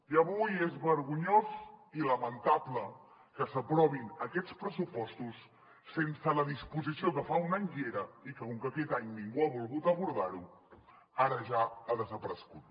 i avui és vergonyós i lamentable que s’aprovin aquests pressupostos sense la disposició que fa un any hi era i que com que aquest any ningú ha volgut abordar ho ara ja ha desaparegut